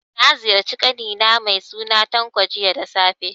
Na ziyarci ƙani na mai suna Tanko, jiya da safe.